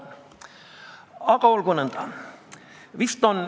Aga olgu nõnda.